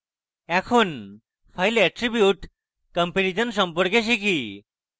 এখন file attribute comparison সম্পর্কে শিখি